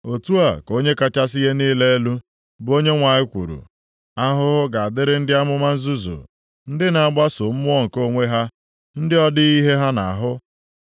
Otu a ka Onye kachasị ihe niile elu, bụ Onyenwe anyị kwuru, Ahụhụ ga-adịrị ndị amụma nzuzu ndị na-agbaso mmụọ nke onwe ha, ndị ọ dịghị ihe ha na-ahụ.